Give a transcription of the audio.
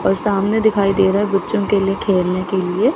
और सामने दिखाई दे रहा है बच्चों के लिए खेलने के लिए।